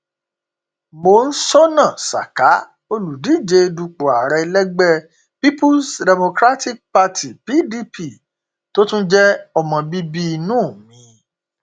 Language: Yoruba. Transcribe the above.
monsónà saka olùdíje dupò ààrẹ lẹgbẹ peoples rapat party pdp tó tún jẹ ọmọ bíbí inú m